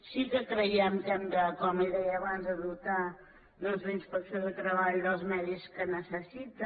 sí que creiem que hem com li deia abans de dotar doncs la inspecció de treball dels mitjans que necessita